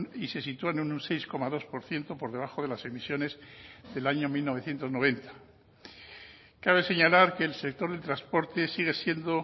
y se sitúan en un seis coma dos por ciento por debajo de las emisiones del año mil novecientos noventa cabe señalar que el sector del transporte sigue siendo